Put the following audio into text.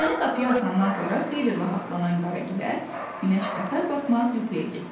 Lövhəni qapıya asandan sonra xeyli rahatlanan Qaragilə günəş batar-batmaz yuxuya getdi.